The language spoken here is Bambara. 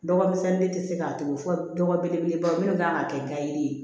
Dɔgɔmisɛnnin de tɛ se k'a tugu fɔ dɔgɔ belebeleba minnu kan ka kɛ nga yiri ye